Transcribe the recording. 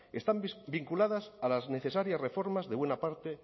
están vinculadas a las necesarias reformas de buena parte